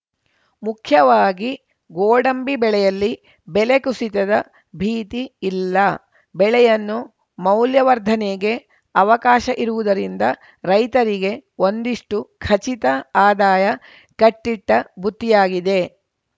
ಮುಖ್ಯವಾಗಿ ಗೋಡಂಬಿ ಬೆಳೆಯಲ್ಲಿ ಬೆಲೆ ಕುಸಿತದ ಭೀತಿ ಇಲ್ಲ ಬೆಳೆಯನ್ನು ಮೌಲ್ಯ ವರ್ಧನೆಗೆ ಅವಕಾಶ ಇರುವುದರಿಂದ ರೈತರಿಗೆ ಒಂದಿಷ್ಟುಖಚಿತ ಆದಾಯ ಕಟ್ಟಿಟ್ಟಬುತ್ತಿಯಾಗಿದೆ